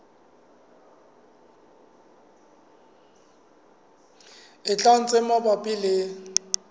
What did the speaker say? e tlang tse mabapi le